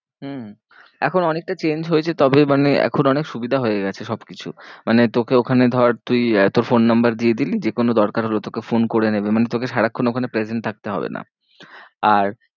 হম এখন অনেকটা change হয়েছে তবে মানে এখন অনেক সুবিধা হয়ে গেছে সব কিছু। মানে তোকে ওখানে ধর তুই তোর phone number দিয়ে দিলি যে কোনো দরকার হলো তোকে phone করে নেবে মানে তোকে সারাক্ষন ওখানে present থাকতে হবে না। আর